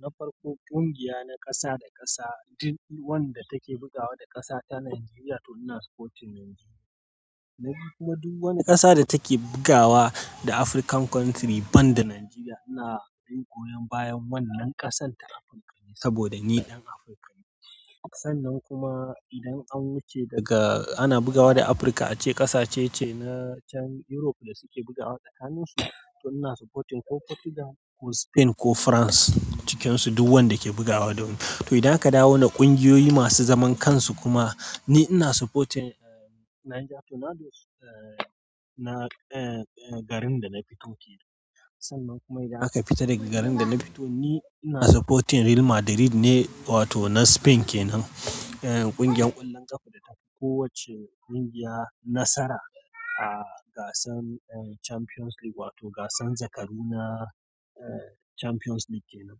Na farko, ƙungiya na kasa da kasa, duk wadda take bugawa da ƙasar ta Najeriya, to ina supporting Najeriya. Kuma duk wani kasa da take bugawa da African country banda Najeriya, ina goyon bayan wannan ƙasar ta Afirka saboda ni dan Afirka ne. Sannan kuma idan an wuce daga ana bugawa da Afirka, ace kasa ce na can Europe da suke bugawa tsakaninsu, to ina supporting ko Portugal ko Spain ko France cikinsu, duk wadda ke bugawa da wani. To idan aka dawo na kungiyoyi masu zaman kansu kuma, ni ina supporting, eh, Niger, to na dos-- eh, na, eh, garin da na fito ke nan. Sannan kuma idan aka fita daga garin da na fito ni ina supporting real madrid ne wato na spain kenan. Eh, kungiyan ƙwallon ƙafa da tafi kowacce ƙungiya nasara a gasan, eh, Champions League wato gasan zakaru na, eh, Champions League kenan.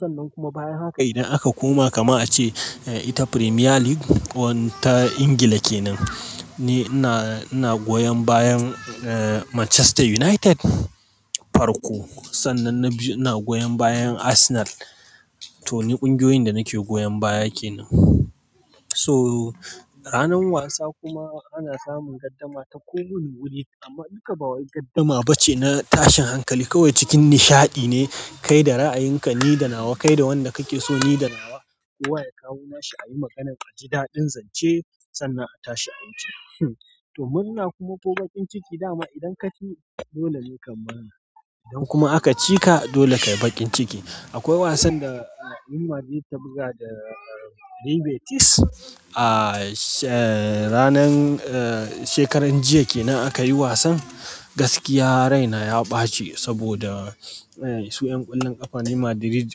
Sannan kuma bayan haka idan aka koma kaman a ce ita premier League ta England kenan ni ina goyon bayan Manchester united farko. Sannan na biyu ina goyon bayan Arsenal. To ni kungiyoyin da nake goyon baya kenan. To ranan wasa kuma ana samun gardama ta ko wani wuni amma duka ba wai gardama ba ce na tashin hankali. Kawai cikin nishaɗi ne kai da ra'ayinka ni da nawa, kai da wanda kake so ni da nawa. Kowa ya kawo nashi, a yi maganan a ji daɗin zance sannan a tashi a wuce. To murna kuma ko bakin ciki dama idan ka ci, dole ne ka yi mana. Idan kuma aka cika, dole ka yi bakin ciki. Akwai wasan da Real Madrid ta buga da, eh, Livertis ah, she-- ranar, eh, shekaran jiya ke nan aka yi wasan. Gaskiya raina ya ɓaci saboda, eh, su ƴan ƙwallon ƙafa na Real Madrid,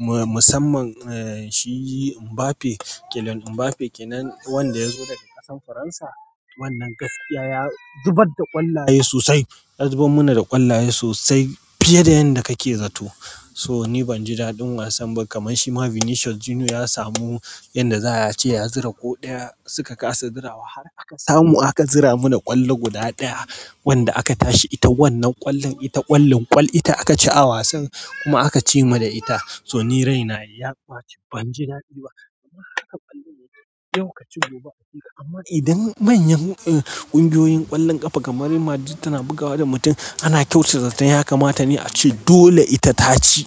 musamman, eh, shi Mbappe, Kylian Mbappe kenan wanda ya zo daga ƙasar Faransa. Wannan gaskiya ya zubar da ƙwallaye sosai. Ya zubar mana da ƙwallaye sosai fiye da yadda kake zato. So ni ban ji daɗin wasan ba. Kaman shi ma Vinicius Junior ya samu yadda za a ce ya zura ko ɗaya suka kasa zura wa. Har aka samu aka zura mana ƙwallo guda ɗaya wanda aka tashi ita wannan ƙwallon ita ƙwallin ƙwal ita aka ci a wasan kuma aka ci mu da ita. To ni raina ya ɓaci. Ban ji daɗi ba. Kaman haka ƙwallaye yau ka ci gobe a cika. Amma idan manyan, eh, kungiyoyin ƙwallon ƙafa kamar Real Madrid tana bugawa da mutum, ana kyautata zaton ya kamata ne a ce dole ita ta ci.